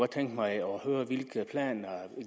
tænke mig at høre hvilke planer